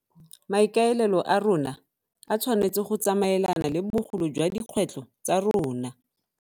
Maikaelelo a rona a tshwanetse go tsamaelana le bogolo jwa dikgwetlho tsa rona.